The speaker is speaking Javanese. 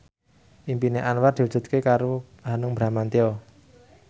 impine Anwar diwujudke karo Hanung Bramantyo